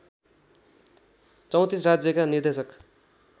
३४ राज्यका निर्देशक